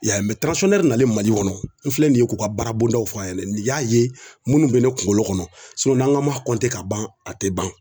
Ya na Mali kɔnɔ n filɛ nin ye k'u ka baara bondaw fɔ a ɲɛna nin y'a ye minnu bɛ ne kunkolo kɔnɔ n'an ka ma ka ban a tɛ ban